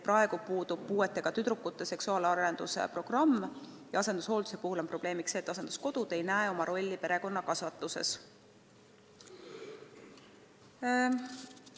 Praegu puudub puuetega tüdrukute seksuaalarenduse programm ja asendushoolduse puhul on probleemiks see, et asenduskodud ei näe oma rolli perekonnakasvatuses.